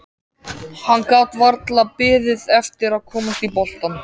Hann gat varla beðið eftir að komast í boltann.